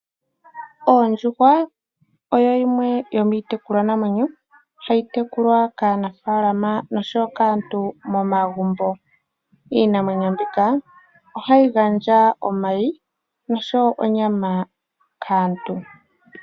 Oondjuhwa oyo yimwe yo miitekulwa namwenyo hayi tekulwa kaanafala oshowo kaantu momagumbo. Iinamwenyo mbika ohayi gandja omayi oshowo onyama kaantu.